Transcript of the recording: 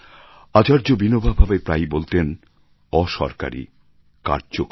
আচার্য বিনোবা ভাবে প্রায়ই বলতেন অ সরকারি কার্যকর